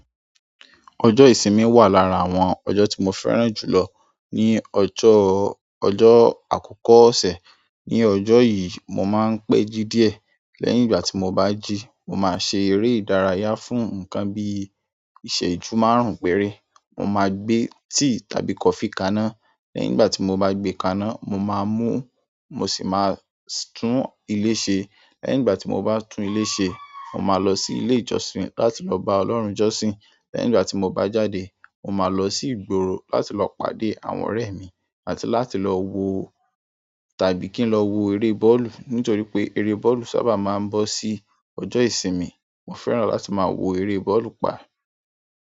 Ọjọ́ ìsinmi wà lára àwọn ọjọ́ tí mo fẹ́ràn jù lọ ní ọjọ́, ọjọ́ àkọ́kọ́ ọ̀sẹ̀. Ni ọjọ́ yìí mo máa ń pẹ́jí díẹ̀. Lẹ́yìn ìgbà tí mo bá jí, mo máa ṣe eré ìdárayá fún nǹkan bí i ìṣẹ́jú márùn-ún péré. Mo máa gbé tíì tàbí kọfí kaná. Lẹ́yìn ìgbà tí mo bá gbé kaná, mo máa mú, mo sì máa tún ilé ṣe. Lẹ́yìn ìgbà tí mo bá tún ilé ṣe, mo máa lọ sí ilé ìjọsìn láti lọ bá Ọlọ́run jọ́sìn. Lẹ́yìn ìgbà tí mo bá jáde, mo máa lọ sí ìgboro láti lọ pàdé àwọn ọ̀rẹ́ mi àti láti lọ wo tàbí kí n lọ wo eré bọ́ọ̀lù. Nítorí pé eré bọ́ọ̀lù sábà máa ń bọ́ sí ọjọ́ ìsinmi. Mo fẹ́ràn láti máa wo eré bọ́ọ̀lù pa.